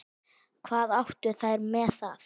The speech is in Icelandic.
Hvað áttu þær með það?